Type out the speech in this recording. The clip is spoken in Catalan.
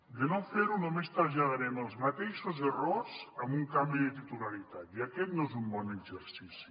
de no fer ho només traslladarem els mateixos errors amb un canvi de titularitat i aquest no és un bon exercici